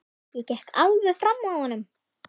Ég gekk alveg fram af honum.